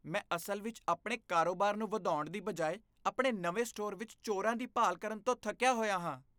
ਮੈਂ ਅਸਲ ਵਿੱਚ ਆਪਣੇ ਕਾਰੋਬਾਰ ਨੂੰ ਵਧਾਉਣ ਦੀ ਬਜਾਏ ਆਪਣੇ ਨਵੇਂ ਸਟੋਰ ਵਿੱਚ ਚੋਰਾਂ ਦੀ ਭਾਲ ਕਰਨ ਤੋਂ ਥੱਕਿਆ ਹੋਇਆ ਹਾਂ।